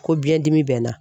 Ko biɲɛdimi bɛ n na